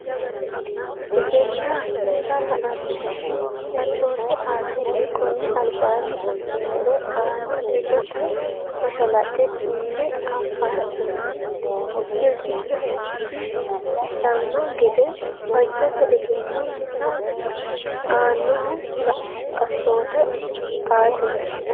Egennaa misa la annohu assoote aatenni konni albaanni affinori aana ledote mashalaqqe uyne afansa birdiiffatisidhanno gede fajjate Egennaa misa la annohu assoote aatenni.